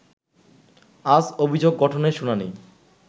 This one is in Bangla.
আজ অভিযোগ গঠনের শুনানি